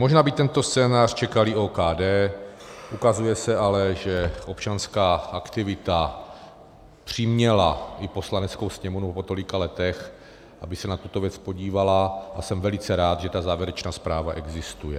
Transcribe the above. Možná by tento scénář čekal i OKD, ukazuje se ale, že občanská aktivita přiměla i Poslaneckou sněmovnu po tolika letech, aby se na tuto věc podívala, a jsem velice rád, že ta závěrečná zpráva existuje.